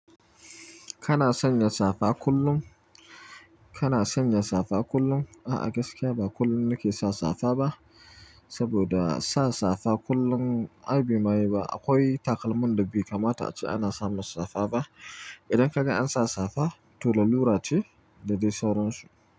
Kana sanya safa kullum? Kana sanya safa kullum? A'a, gaskiya ba kullum nake sa safa ba, saboda sa safa kullum ai bai ma yi ba. Akwai takalmin da bai kamata a ce ana samar safa ba. Idan ka ga an sa safa, to lalura ce da dai sauran su.